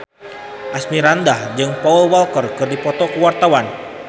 Asmirandah jeung Paul Walker keur dipoto ku wartawan